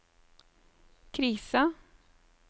krisa